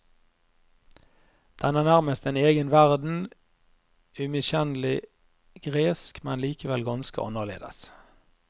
Den er nærmest en egen verden, umiskjennelig gresk, men likevel ganske annerledes.